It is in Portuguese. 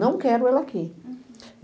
Não quero ele aqui. Uhum